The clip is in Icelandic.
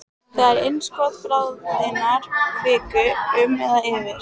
Þegar innskot bráðinnar kviku, um eða yfir